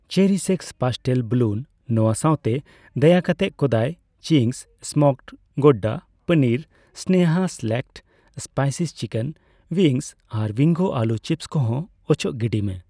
CherishX pastel balloon ᱱᱚᱣᱟ ᱥᱟᱣᱛᱮ, ᱫᱟᱭᱟᱠᱟᱛᱮ Kodai cheese smoked gouda paneer, Sneha select spice chicken wings ᱟᱨ ᱵᱤᱝᱜᱳ ᱟᱹᱞᱩ ᱪᱤᱯᱥ ᱠᱚ ᱦᱚᱸ ᱚᱪᱚᱜ ᱜᱤᱰᱤᱭ ᱢᱮ ᱾